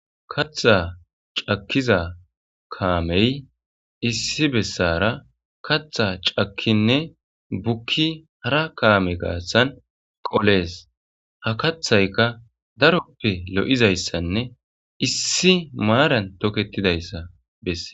katha cakkiza kaamey issi bessara katha cakkinne bukki hara kaame garssan qolees. ha kathayka daroppe lo'izayssanne issi maaran toketidayssa besses.